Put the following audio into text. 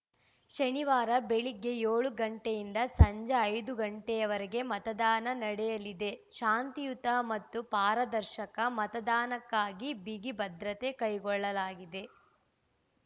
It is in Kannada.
ಶನಿವಾರ ಬೆಳಗ್ಗೆ ಏಳು ಗಂಟೆಯಿಂದ ಸಂಜೆ ಐದು ಗಂಟೆಯವರೆಗೆ ಮತದಾನ ನಡೆಯಲಿದೆ ಶಾಂತಿಯುತ ಮತ್ತು ಪಾರದರ್ಶಕ ಮತದಾನಕ್ಕಾಗಿ ಬಿಗಿ ಭದ್ರತೆ ಕೈಗೊಳ್ಳಲಾಗಿದೆ